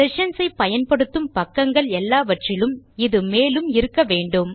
sessions ஐ பயன்படுத்தும் பக்கங்கள் எல்லாவற்றிலும் இது மேலே இருக்க வேண்டும்